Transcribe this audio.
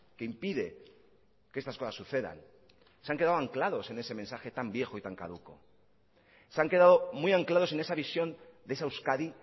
que impide que estas cosas sucedan se han quedado anclados en ese mensaje tan viejo y tan caduco se han quedado muy anclados en esa visión de esa euskadi